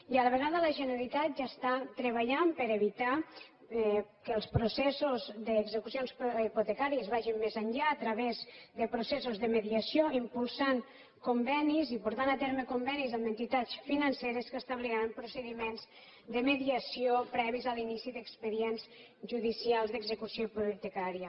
i a la vegada la generalitat ja està treballant per evitar que els processos d’execucions hipotecàries vagin més enllà a través de processos de mediació impulsant convenis i portant a terme convenis amb entitats financeres que establiran procediments de mediació previs a l’inici d’expedients judicials d’execució hipotecària